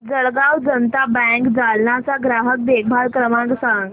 Jalgaon Janata bank Jalna चा ग्राहक देखभाल क्रमांक सांग